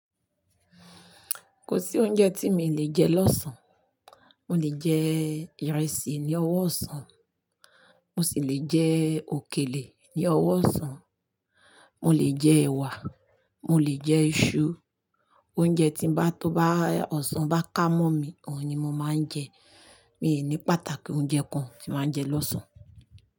Kò sí oúnjẹ tí mi lè jẹ lọ́sàn. Mo lè jẹ ìrẹsì ní ọwọ́ ọ̀sán, mo sì lè jẹ òkèlè ní ọwọ́ ọ̀sán, mo lè jẹ ẹ̀wà, mo lè jẹ iṣu. Oúnjẹ tí bá tó bá ọ̀sán bá ká mọ́ mi, òun ni mo máa ń jẹ. Mi ò ní pàtàkì oúnjẹ kan tí màá ń jẹ lọ́sàn.